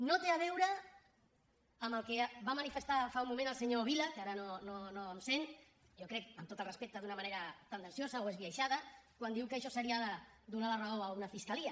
no té a veure amb el que va manifestar fa un moment el senyor vila que ara no em sent jo crec amb tot el respecte d’una manera tendenciosa o esbiaixada quan diu que això seria donar la raó a una fiscalia